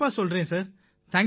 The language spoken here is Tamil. கண்டிப்பா சொல்றேன் சார்